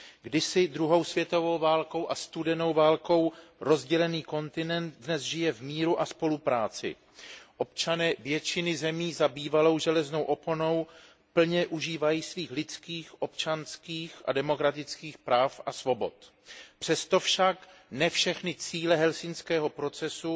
Kdysi druhou světovou válkou a studenou válkou rozdělený kontinent dnes žije v míru a spolupráci. Občané většiny zemí za bývalou železnou oponou plně užívají svých lidských, občanských a demokratických práva a svobod. Přesto však ne všechny cíle helsinského procesu